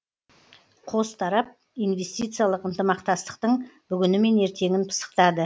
қос тарап инвестициялық ынтымақтастықтың бүгіні мен ертеңін пысықтады